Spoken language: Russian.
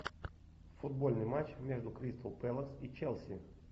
футбольный матч между кристал пэлас и челси